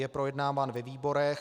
Je projednáván ve výborech.